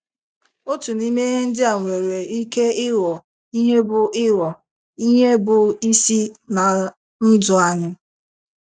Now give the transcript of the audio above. Otu n’ime ihe ndị a nwere ike ịghọ ihe bụ́ ịghọ ihe bụ́ isi ná ndụ anyị.